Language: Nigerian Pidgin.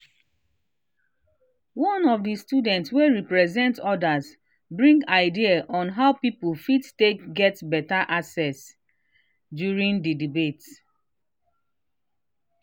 one of the student wey represent others bring idea on how people fit take get better access during the debate